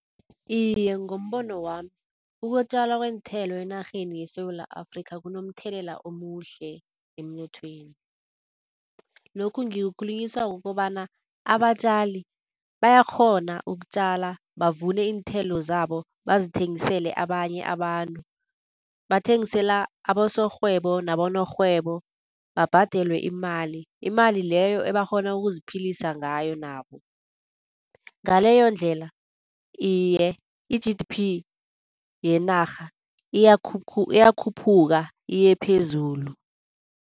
Iye ngombono wami ukutjalwa kweenthela enarheni yeSewula Afrikha kunomthelela omuhle emnothweni. Lokhu ngikukhulunyiswa kukobana abatjali bayakghona ukutjala, bavune iinthelo zabo bazithengisele abanye abantu. Bathengisela abasorhwebo nabonorhwebo babhadelwe imali. Imali leyo ebakghona ukuziphilisa ngayo nabo, ngaleyondlela, iye i-G_D_P yenarha iyakhuphuka iyephezulu.